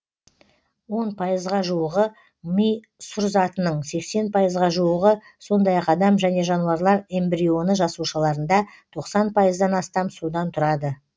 он пайызға жуығы ми сұр затының сексен пайызға жуығы сондай ақ адам және жануарлар эмбрионы жасушаларында тоқсан пайыздан астам судан тұрады